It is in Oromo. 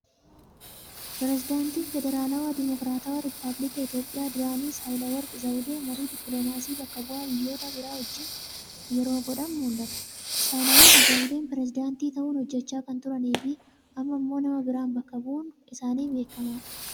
Pirezidaantii Federaalawaa Dimookiratawaa Rippaabilika Itoophiyaa duraanii Sahilaworq Zawudee marii diippiloomaasii bakka bu'aa biyyoota biraa wajjin yeroo godhan mul'atu. Sahilaworq Zawudee Poreezidantii ta'uun hojjechaa kan turanii fi amma immoo nama biraan bakka bu'uun isaanii beekamaadha.